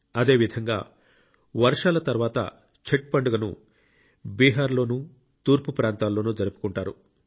అదే విధంగా వర్షాల తర్వాత ఛట్ పండుగను బీహార్ లోనూ తూర్పు ప్రాంతాల్లోనూ జరుపుకుంటారు